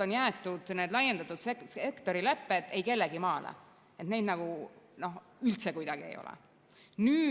on jäetud need laiendatud sektori lepped eikellegimaale, neid nagu üldse kuidagi ei ole.